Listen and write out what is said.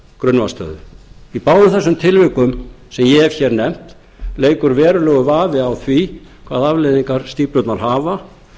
grunnvatnsstöðu í báðum þessum tilvikum sem ég hef hér nefnt leikur verulegur vafi á því hvaða afleiðingar stíflurnar hafa